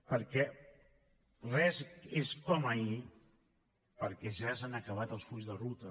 perquè res és com ahir perquè ja s’han acabat els fulls de ruta